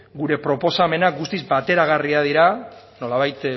gure proposamena guztiz bateragarriak dira nolabait